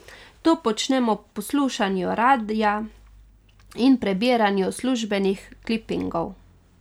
To počnem ob poslušanju radia in prebiranju službenih klipingov.